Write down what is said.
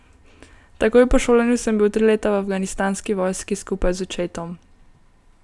Takoj po šolanju sem bil tri leta v afganistanski vojski skupaj z očetom.